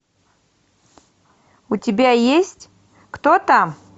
у тебя есть кто там